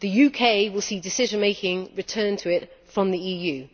The UK will see decision making returned to it from the EU.